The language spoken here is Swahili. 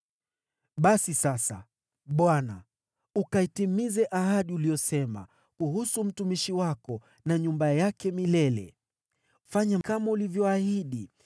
“Basi sasa, Bwana , ukaitimize ahadi uliyosema kuhusu mtumishi wako na nyumba yake milele. Fanya kama ulivyoahidi,